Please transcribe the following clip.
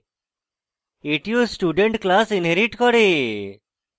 এটিও student class inherits করে